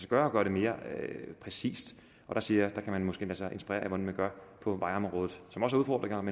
gøre at gøre det mere præcis og der siger jeg at man måske kan lade sig inspirere af hvordan man gør på vejområdet